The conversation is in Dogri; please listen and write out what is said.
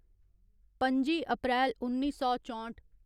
पं'जी अप्रैल उन्नी सौ चौंठ